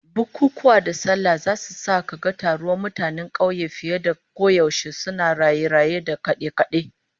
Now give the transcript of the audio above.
Bukunkunan sallah da aure zasu sa kaga taruwan mutanen kauye fiye da koyaushe, suna raye-raye da kade-kade